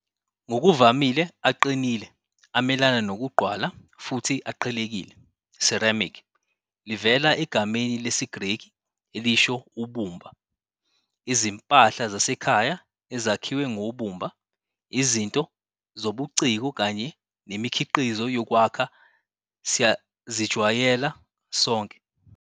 Ngokuvamile, aqinile, amelana nokugqwala futhi aqhekekile. Ceramic 'livela egameni lesiGreki elisho' ubumba'. Izimpahla zasekhaya ezakhiwe ngobumba, izinto zobuciko kanye nemikhiqizo yokwakha siyazijwayela sonke.